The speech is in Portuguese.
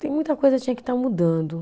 Tem muita coisa, tinha que estar mudando